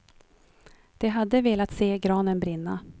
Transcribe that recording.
De hade velat se granen brinna.